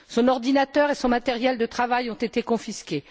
Son ordinateur et son matériel de travail ont été confisqués.